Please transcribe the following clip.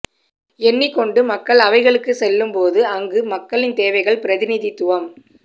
எண்ணிக் கொண்டு மக்கள் அவைகளுக்கு செல்லும்போது அங்கு மக்களின் தேவைகள் பிரதிநிதித்துவம்